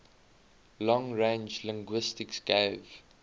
long range linguistics gave